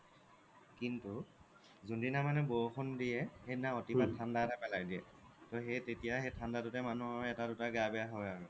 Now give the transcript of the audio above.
কিন্তু যোনদিনা মানে বৰষুণ দিয়ে সেইদিনা অতি পাত ঠাণ্ডা এটা পেলাই দিয়ে টোও সেই তেতিয়া ঠাণ্ডাটো তে মানুহৰ এটা দুটা গা বেয়া হয় আৰু